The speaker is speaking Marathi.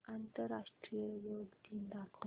आंतरराष्ट्रीय योग दिन दाखव